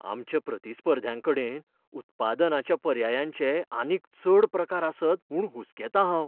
आमच्या प्रतिस्पर्ध्यांकडेन उत्पादनाच्या पर्यायांचे आनीक चड प्रकार आसत म्हूण हुसकेतां हांव.